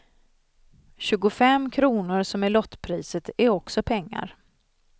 Tjugufem kronor som är lottpriset är också pengar.